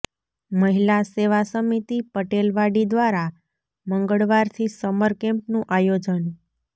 મહિલા સેવા સમિતિ પટેલવાડી દ્વારા મંગળવારથી સમર કેમ્પનું આયોજન